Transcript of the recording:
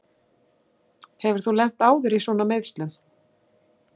Hefur þú lent áður í svona meiðslum?